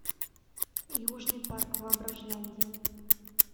южный парк воображляндия